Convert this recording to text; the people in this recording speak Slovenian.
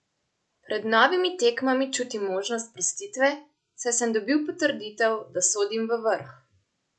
Pred novimi tekmami čutim možnost sprostitve, saj sem dobil potrditev, da sodim v vrh.